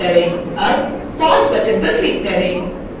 अब pause button पर click करें